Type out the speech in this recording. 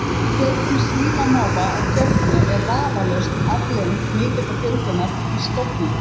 Fjölgun sílamáfa á Tjörninni er vafalaust afleiðing mikillar fjölgunar í stofninum.